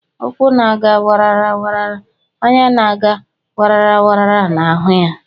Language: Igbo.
Ụkwụ na aga wara wara anya na-aga wara wara na ahụ ya.